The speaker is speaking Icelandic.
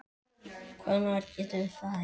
Hvenær getum við farið?